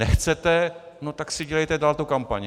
Nechcete, no tak si dělejte dál tu kampaň.